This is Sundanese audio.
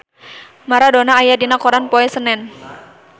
Maradona aya dina koran poe Senen